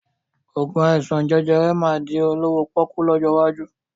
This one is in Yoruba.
Oògùn àìsàn jẹjẹrẹ máa di olówó pọ́kú lọ́jọ́ iwájú